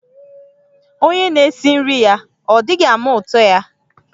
Onye n'esi nri-ya, ọ̀ dighi-ama utọ-ya?